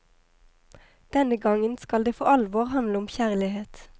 Denne gangen skal det for alvor handle om kjærlighet.